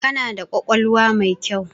Kana da ƙwaƙwalwa mai kyau.